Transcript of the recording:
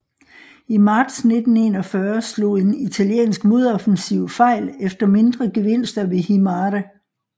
I marts 1941 slog en italiensk modoffensiv fejl efter mindre gevinster ved Himare